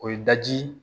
O ye daji